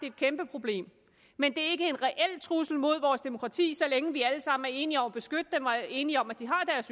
et kæmpeproblem men det er ikke en reel trussel mod vores demokrati så længe vi alle sammen er enige om at beskytte dem og enige om at de har